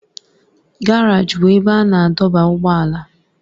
Garaji bụ ebe a na-adọba ụgbọala.